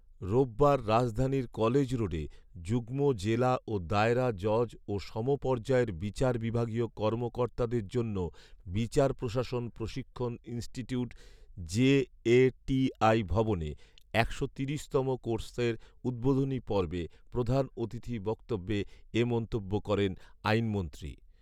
রোববার রাজধানীর কলেজ রোডে যুগ্ম জেলা ও দায়রা জজ ও সমপর্যায়ের বিচার বিভাগীয় কর্মকর্তাদের জন্য বিচার প্রশাসন প্রশিক্ষণ ইন্সটিউিট জেএটিআই’ ভবনে একশো তিরিশতম কোর্সের উদ্বোধনী পর্বে প্রধান অতিথি বক্তব্যে এ মন্তব্য করেন আইনমন্ত্রী